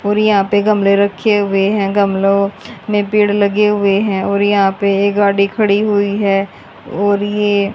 और यहां पे गमले रखे हुए हैं गमलो में पेड़ लगे हुए हैं और यहां पे ये गाड़ी खड़ी हुई है और ये--